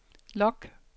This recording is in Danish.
log